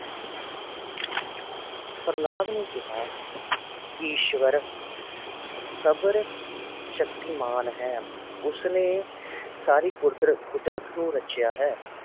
ਪ੍ਰਹਲਾਦ ਨੇ ਕਿਹਾ ਈਸ਼ਵਰ ਸਰਵ ਸ਼ਕਤੀਮਾਨ ਹੈ, ਉਸਨੇ ਸਾਰੇ ਕੁਦਰਤ ਕੁਦਰਤ ਨੂੰ ਰਚਿਆ ਹੈ